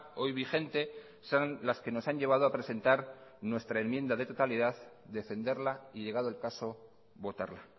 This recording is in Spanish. hoy vigente son las que nos han llevado a presentar nuestra enmienda de totalidad defenderla y llegado el caso votarla